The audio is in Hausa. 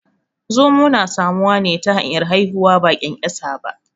Zomo na samuwa ne ta hanyar haihuwa ba ƙyanƙyasa ba